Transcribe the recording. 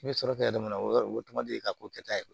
I bɛ sɔrɔ kɛ yɔrɔ min na o y'a sɔrɔ o tuma ye k'o kɛ ta ye